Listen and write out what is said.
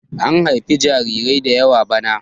an haifi jarirai da yawa bana!